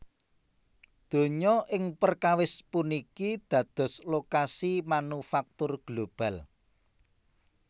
Donya ing perkawis puniki dados lokasi manufaktur global